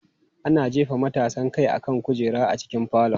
Ana jefa matasan kai akan kujera a cikin falon.